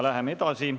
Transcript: Läheme edasi.